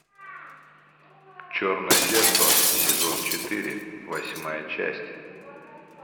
черное зеркало сезон четыре восьмая часть